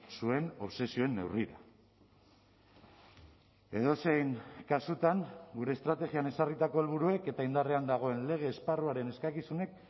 zuen obsesioen neurrira edozein kasutan gure estrategian ezarritako helburuek eta indarrean dagoen lege esparruaren eskakizunek